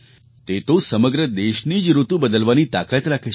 તે તો સમગ્ર દેશની જ ઋતુ બદલવાની તાકાત રાખે છે